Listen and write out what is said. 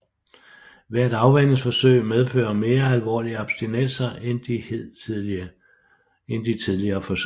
Hvert afvænningsforsøg medfører mere alvorlige abstinenser end de tidligere forsøg